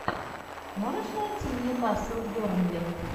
можешь найти нью касл бернли